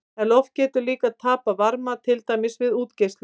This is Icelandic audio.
En loft getur líka tapað varma, til dæmis við útgeislun.